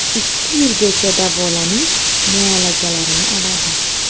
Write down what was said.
Ikki yilgacha davolanish muolajalarini oladi.